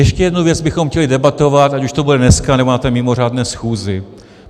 Ještě jednu věc bychom chtěli debatovat, ať už to bude dneska, nebo na mimořádné schůzi.